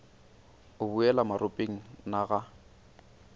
o boela maropeng na ga